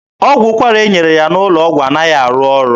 Ọgwụ ụkwara e nyere ya n'ụlọ ọgwụ anaghị arụ ọrụ.